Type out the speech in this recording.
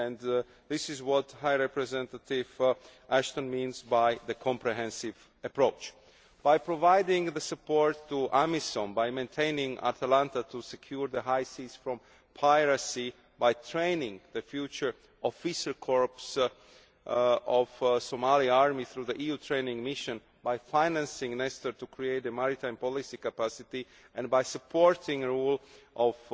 That is what High Representative Ashton means by a comprehensive approach. By providing the support to our mission and maintaining Atalanta to secure the high seas from piracy, by training the future officer corps of the Somali army through the EU training mission, by financing Nestor to create maritime policy capacity and by supporting rule of